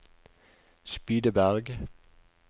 Spydeberg